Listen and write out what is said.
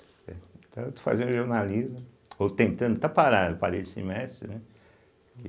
Né, então eu estou fazendo jornalismo, ou tentando, está parado, parei esse semestre, né?